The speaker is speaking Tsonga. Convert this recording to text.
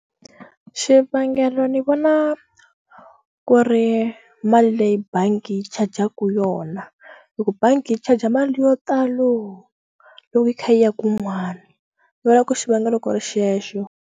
Xivangelo ni vona ku ri mali leyi bangi yi charger-ka yona loko bangi yi charge mali yo talo loko yi kha yi ya kun'wani ni vona ku xivangelo ku ri xexo.